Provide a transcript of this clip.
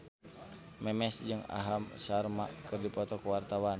Memes jeung Aham Sharma keur dipoto ku wartawan